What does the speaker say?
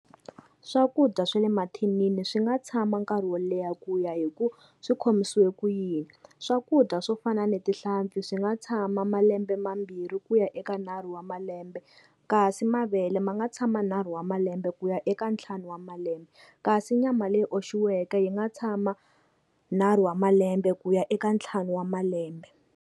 Swakudya swa le mathinini swi nga tshama nkarhi wo leha ku ya hi ku swi khomisiwe ku yini. Swakudya swo fana na tihlampfi swi nga tshama malembe mambirhi ku ya eka nharhu wa malembe, kasi mavele ma nga tshama nharhu wa malembe ku ya eka ntlhanu wa malembe, kasi nyama leyi oxiweke yi nga tshama nharhu wa malembe ku ya eka ntlhanu wa malembe.